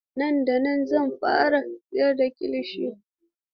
Nan da nan zan fara siyar da kilishi.